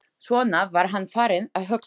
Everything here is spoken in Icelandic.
Svona var hann farinn að hugsa.